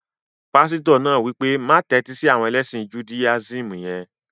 Pásítọ̀ náà wí pé, má tẹ́tí sí àwọn ẹlẹ́sìn judáyísìmì yẹn